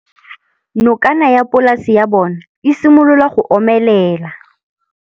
Nokana ya polase ya bona, e simolola go omelela.